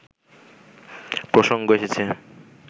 প্রসঙ্গ এসেছে